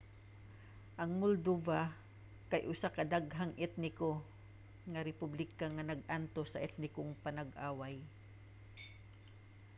ang moldova kay usa ka daghang-etniko nga republika nga nag-antos sa etnikong panag-away